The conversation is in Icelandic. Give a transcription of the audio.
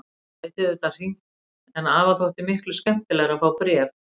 Hann gæti auðvitað hringt en afa þótti miklu skemmtilegra að fá bréf.